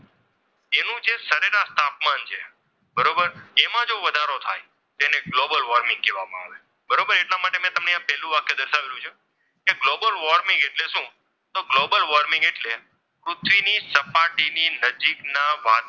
એમાં જો વધારો થાય તેને ગ્લોબલ વોર્મિંગ કહેવામાં આવે છે બરોબર એટલા માટે મેં તમને પહેલું વાક્ય દર્શાવેલ છે કે ગ્લોબલ વોર્મિંગ એટલે શું? તો ગ્લોબલ વોર્મિંગ એટલે પૃથ્વીની સપાટીની નજીક ના વાતાવરણમાં